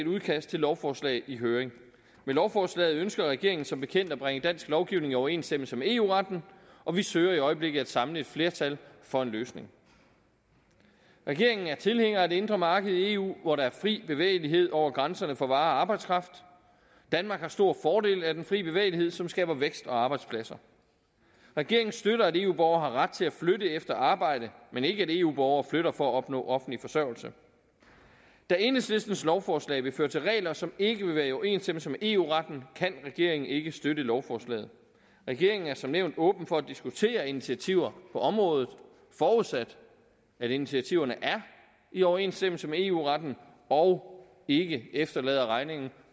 udkast til lovforslag i høring med lovforslaget ønsker regeringen som bekendt at bringe dansk lovgivning i overensstemmelse med eu retten og vi søger i øjeblikket at samle et flertal for en løsning regeringen er tilhænger af det indre marked i eu hvor der er fri bevægelighed over grænserne for varer og arbejdskraft danmark har stor fordel af den frie bevægelighed som skaber vækst og arbejdspladser regeringen støtter at eu borgere har ret til at flytte efter arbejde men ikke at eu borgere flytter for at opnå offentlig forsørgelse da enhedslistens lovforslag vil føre til regler som ikke vil være i overensstemmelse med eu retten kan regeringen ikke støtte lovforslaget regeringen er som nævnt åben over for at diskutere initiativer på området forudsat at initiativerne er i overensstemmelse med eu retten og ikke efterlader regningen